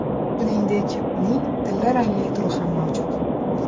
Shuningdek, uning tilla rangli turi ham mavjud.